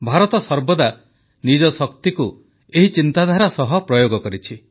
ଭାରତ ସର୍ବଦା ନିଜ ଶକ୍ତିକୁ ଏହି ଚିନ୍ତାଧାରା ସହ ପ୍ରୟୋଗ କରିଛି